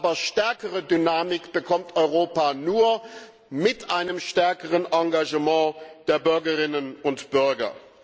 Aber stärkere Dynamik bekommt Europa nur mit einem stärkeren Engagement der Bürgerinnen und Bürger.